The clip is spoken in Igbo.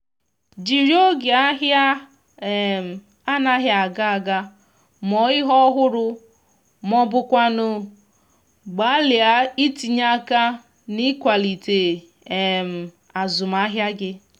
jiri oge ahia um anaghi aga aga mụọ ihe ọhụrụ ma ọ bụkwanụ gbalịa itinye aka n’ịkwalite um azụmahịa gị